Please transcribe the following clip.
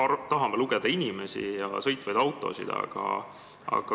Me tahame lugeda inimesi ja sõitvaid autosid.